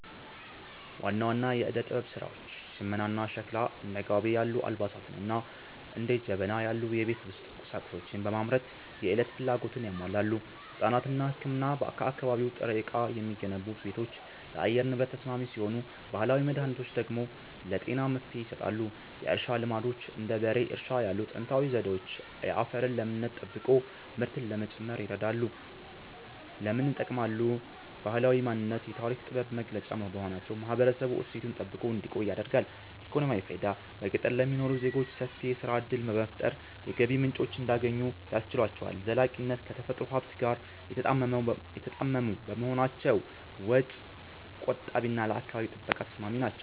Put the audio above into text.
ዋና ዋና የዕደ-ጥበብ ሥራዎች ሽመናና ሸክላ፦ እንደ ጋቢ ያሉ አልባሳትንና እንደ ጀበና ያሉ የቤት ውስጥ ቁሳቁሶችን በማምረት የዕለት ፍላጎትን ያሟላሉ። ሕንጻና ሕክምና፦ ከአካባቢ ጥሬ ዕቃ የሚገነቡ ቤቶች ለአየር ንብረት ተስማሚ ሲሆኑ፣ ባህላዊ መድኃኒቶች ደግሞ ለጤና መፍትሔ ይሰጣሉ። የእርሻ ልማዶች፦ እንደ በሬ እርሻ ያሉ ጥንታዊ ዘዴዎች የአፈርን ለምነት ጠብቆ ምርትን ለመጨመር ይረዳሉ። ለምን ይጠቅማሉ? ባህላዊ ማንነት፦ የታሪክና የጥበብ መገለጫ በመሆናቸው ማህበረሰቡ እሴቱን ጠብቆ እንዲቆይ ያደርጋሉ። ኢኮኖሚያዊ ፋይዳ፦ በገጠር ለሚኖሩ ዜጎች ሰፊ የሥራ ዕድል በመፍጠር የገቢ ምንጭ እንዲያገኙ ያስችላቸዋል። ዘላቂነት፦ ከተፈጥሮ ሀብት ጋር የተጣጣሙ በመሆናቸው ወጪ ቆጣቢና ለአካባቢ ጥበቃ ተስማሚ ናቸው።